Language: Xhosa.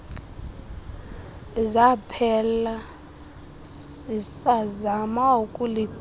zaphela sisazama ukulichana